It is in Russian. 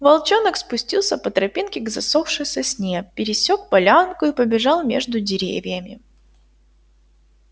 волчонок спустился по тропинке к засохшей сосне пересёк полянку и побежал между деревьями